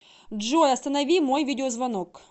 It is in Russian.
джой останови мой видеозвонок